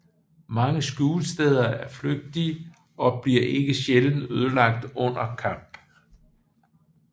Mange skjulesteder er flygtige og bliver ikke sjældent ødelagt under kamp